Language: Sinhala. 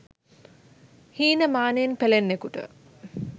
හීනමානයෙන් පෙලෙන්නෙකුට